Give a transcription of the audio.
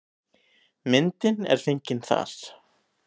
Myndin er fengin þar.